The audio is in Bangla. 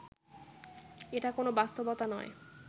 এটা কোনো বাস্তবতা নয়